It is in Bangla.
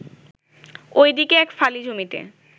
ওই দিকে এক ফালি জমিতে